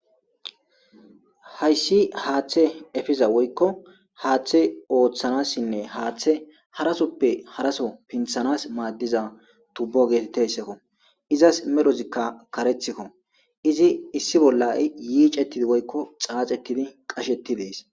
Hayiss haththe efiza woyikko haththe oththanasinne haththe harasoppe harso pinththanas maadiza tubo getetizayssakko izas medhdhozikka kareththikko izi issi bolla yicetidi woyikko xaxetidi qashsheti des